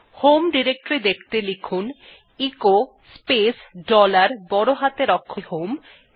home directory দেখতে লিখুন echo space dollar বড় হাতের অক্ষরে h o m ই